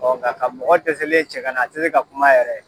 nka ka mɔgɔ dɛsɛlen cɛ kana a te se ka kuma yɛrɛ